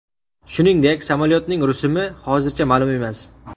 Shuningdek, samolyotning rusumi hozircha ma’lum emas.